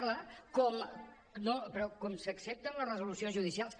) no però com s’accepten les resolucions judicials